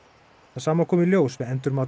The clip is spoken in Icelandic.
það sama kom í ljós við endurmat